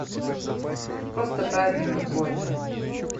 просто праздник какой то